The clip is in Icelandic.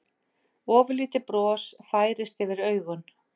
Ofurlítið bros færist yfir augun.